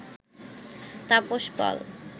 Tapas Pal